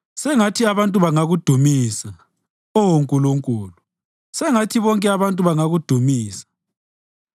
Sengathi abantu bangakudumisa, Oh Nkulunkulu; sengathi bonke abantu bangakudumisa.